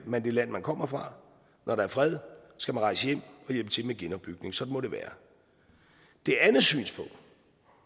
man det land man kommer fra når der er fred skal man rejse hjem og hjælpe til med genopbygningen sådan må det være det andet synspunkt